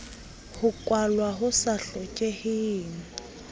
ho kwalwa ho sa hlokeheng